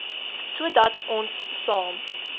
sodat ons saam